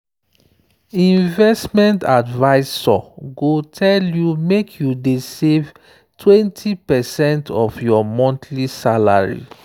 investment advisor go tell you make you dey save 20 percent of your monthly salary.